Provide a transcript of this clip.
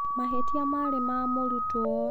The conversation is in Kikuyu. Mahĩtia marĩ ma mũrutwo.